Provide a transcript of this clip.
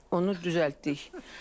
Onu düzəltdik.